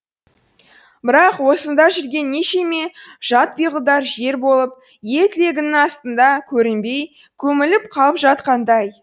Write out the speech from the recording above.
бірақ осында жүрген нешеме жат пиғылдар жер болып ел тілегінің астында көрінбей көміліп қалып жатқандай